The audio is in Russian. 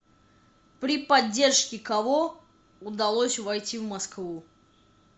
при поддержке кого удалось войти в москву